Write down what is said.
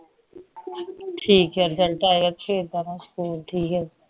ਠੀਕ ਏ result ਆਏ ਕਰਕੇ ਜਾਣਾ ਸਕੂਲ ਠੀਕ ਏ